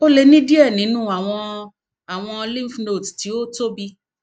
o le ni diẹ ninu awọn awọn lymphnodes ti o tobi